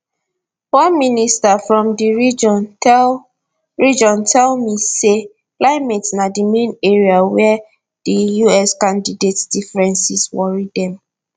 one minister from di region tell region tell me say climate na di main area wia di us candidates differences worry dem